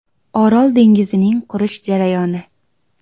Orol dengizining qurish jarayoni.